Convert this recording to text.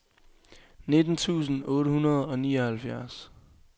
nitten tusind otte hundrede og nioghalvfjerds